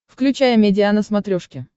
включай амедиа на смотрешке